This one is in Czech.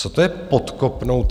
Co to je podkopnout